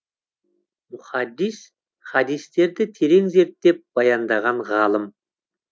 мухаддис хадистерді терең зерттеп баяндаған ғалым